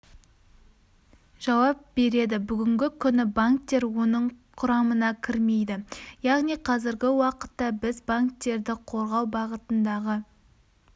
жауап береді бүгінгі күні банктер оның құрамына кірмейді яғни қазіргі уақытта біз банктерді қорғау бағытындағы